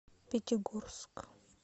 пятигорск